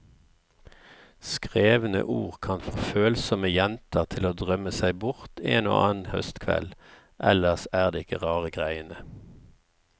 Skrevne ord kan få følsomme jenter til å drømme seg bort en og annen høstkveld, ellers er det ikke rare greiene.